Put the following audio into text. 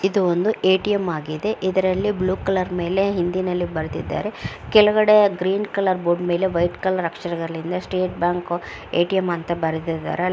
ಇದು ಒಂದು ಎಟಿಎಂ ಆಗಿದೆ ಇದರಲ್ಲಿ ಬ್ಲೂ ಕಲರ್ ಮೇಲೆ ಹಿಂದಿನಲ್ಲಿ ಬರ್ದಿದ್ದಾರೆ ಕೆಳಗಡೆ ಗ್ರೀನ್ ಕಲರ್ ಬೋರ್ಡ್ ಮೇಲೆ ವೈಟ್ ಕಲರ್ ಅಕ್ಷರಗಳಿಂದ ಸ್ಟೇಟ್ ಬ್ಯಾಂಕ್ ಎಟಿಎಂ ಅಂತ ಬರೆದಿದ್ದಾರೆ .